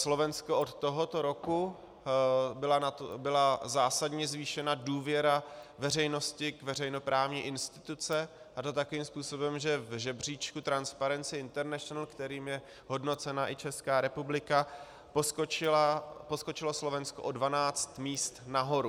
Slovensko, od tohoto roku byla zásadně zvýšena důvěra veřejnosti k veřejnoprávní instituci, a to takovým způsobem, že v žebříčku Transparency International, kterým je hodnocena i Česká republika, poskočilo Slovensko o 12 míst nahoru.